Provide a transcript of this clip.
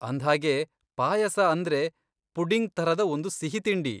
ಅಂದ್ಹಾಗೆ ಪಾಯಸ ಅಂದ್ರೆ ಪುಡಿಂಗ್ ಥರದ ಒಂದು ಸಿಹಿತಿಂಡಿ.